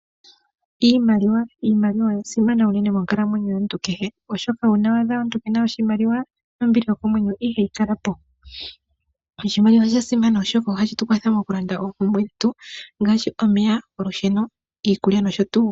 Iimaikwa, iimaliwa oya simana unene monkalamwenyo yomuntu kehe, oshoka una wa adha omuntu kena oshimaliwa, nombili yokomwenyo ihayi kala po. Oshimaliwa osha simana oshoka ohashi tu kwatha moku landa oompumbwe dhetu, ngaashi omeya, olusheno, iikulya noshotuu.